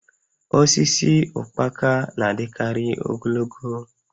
Osisi ụkpaka na-adịkarị ogologo